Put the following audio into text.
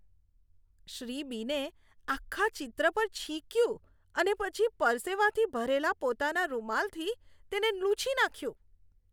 શ્રી બીને આખા ચિત્ર પર છીંક્યું અને પછી પરસેવાથી ભરેલા પોતાના રૂમાલથી તેને લૂછી નાખ્યું.